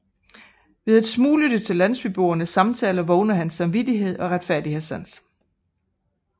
Ved at smuglytte til landsbyboernes samtaler vågner hans samvittighed og retfærdighedssans